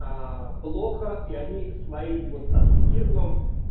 плохо и они своим аскетизмом